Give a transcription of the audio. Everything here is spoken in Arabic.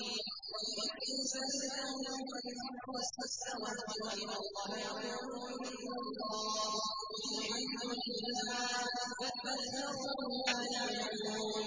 وَلَئِن سَأَلْتَهُم مَّنْ خَلَقَ السَّمَاوَاتِ وَالْأَرْضَ لَيَقُولُنَّ اللَّهُ ۚ قُلِ الْحَمْدُ لِلَّهِ ۚ بَلْ أَكْثَرُهُمْ لَا يَعْلَمُونَ